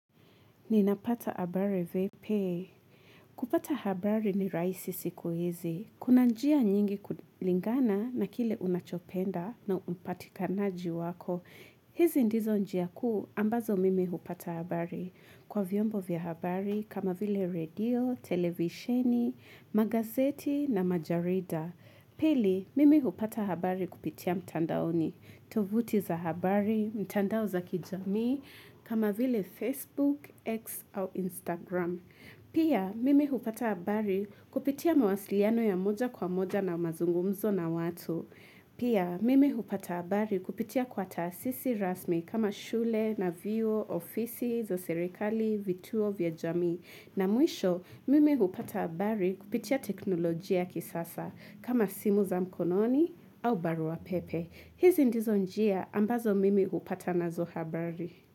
Ninapata habari vipi? Kupata habari ni rahisi siku hizi. Kuna njia nyingi kulingana na kile unachopenda na upatikanaji wako. Hizi ndizo njia kuu ambazo mimi hupata habari. Kwa vyombo vya habari kama vile redio, televisheni, magazeti na majarida. Pili, mimi hupata habari kupitia mtandaoni. Tovuti za habari, mtandao za kijami, kama vile Facebook, X au Instagram. Pia mimi hupata habari kupitia mawasiliano ya moja kwa moja na mazungumzo na watu. Pia mimi hupata habari kupitia kwa taasisi rasmi kama shule, na vyuo, ofisi za serikali, vituo vya jamii. Na mwisho mimi hupata habari kupitia teknolojia ya kisasa kama simu za mkononi au barua pepe. Hizi ndizo njia ambazo mimi hupata nazo habari.